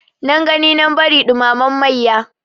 Nan gani nan bari ɗumamen mayya.